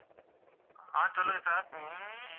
ஆஹ் சொல்லுங்க sir